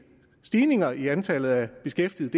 stigninger i antallet af beskæftigede